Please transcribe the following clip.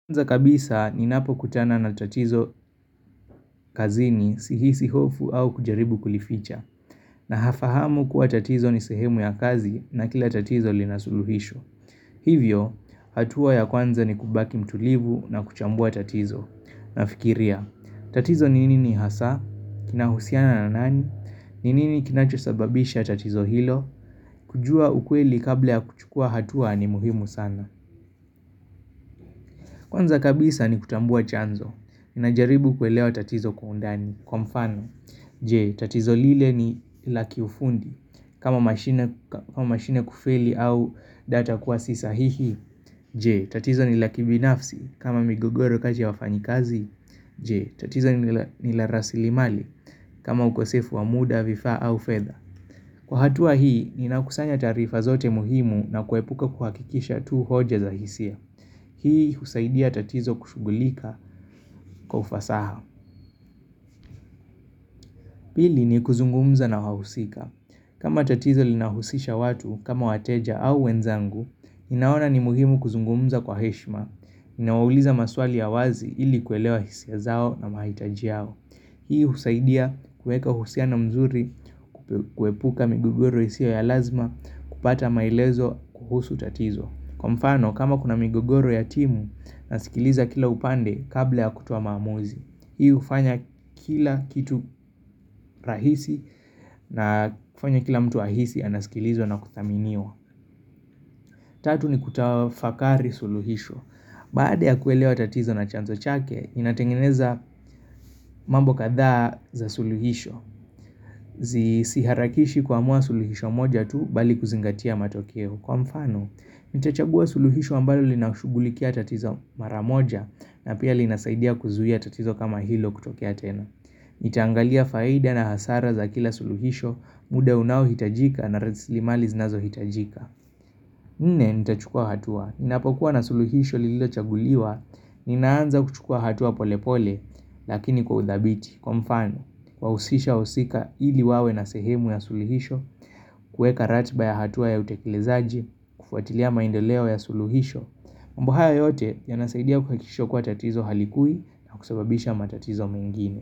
Kwanza kabisa ni napo kutana na tatizo kazini sihisi hofu au kujaribu kulificha. Na hafahamu kuwa tatizo ni sehemu ya kazi na kila tatizo linasuluhisho. Hivyo, hatua ya kwanza ni kubaki mtulivu na kuchambua tatizo. Na fikiria, tatizo ni nini ni hasa, kinahusiana na nani, ni nini kinachosababisha tatizo hilo, kujua ukweli kabla ya kuchukua hatua ni muhimu sana. Kwanza kabisa ni kutambua chanzo, ninajaribu kuelewa tatizo kwa undani, kwa mfano, jee, tatizo lile ni laki ufundi, kama mashine kufeli au data kuwasisa hihi, jee, tatizo ni laki binafsi, kama migogoro kati ya wafanyikazi, jee, tatizo ni larasilimali, kama ukosefu wa muda, vifaa au fedha. Kwa hatua hii, ni nakusanya taarifa zote muhimu na kuepuka kuhakikisha tu hoja za hisia. Hii husaidia tatizo kushugulika kwa ufasaha. Pili ni kuzungumza na wahusika. Kama tatizo linahusisha watu kama wateja au wenzangu, ninaona ni muhimu kuzungumza kwa heshima. Nawauliza maswali ya wazi ili kuelewa hisia zao na mahitaji yao. Hii husaidia kueka uhusiano mzuri kuepuka migogoro isiyo ya lazima kupata maelezo kuhusu tatizo. Kwa mfano kama kuna migogoro ya timu nasikiliza kila upande kabla ya kutoa maamuzi Hii ufanya kila kitu rahisi na kufanya kila mtu ahisi anasikilizwa na kuthaminiwa Tatu ni kutafakari suluhisho Baada ya kuelewa tatizo na chanzo chake inatengeneza mambo kadhaa za suluhisho siharakishi kuamua suluhisho moja tu bali kuzingatia matokeo Kwa mfano, nitachagua suluhisho ambalo linashugulikia tatizo maramoja na pia linasaidia kuzuia tatizo kama hilo kutokea tena. Nitaangalia faida na hasara za kila suluhisho, muda unao hitajika na raslimali zinazo hitajika. Nne, nitachukua hatua. Ninapokuwa na suluhisho lililo chaguliwa, ninaanza kuchukuwa hatua pole pole, lakini kwa udhabiti. Kwa mfano, wausisha usika hili wawe na sehemu ya sulihisho, kueka ratba ya hatua ya utekelezaji, kufuatilia maendeleo ya suluhisho, mambo haya yote yanasaidia kuhakikisha kuwa tatizo halikui na kusababisha matatizo mengine.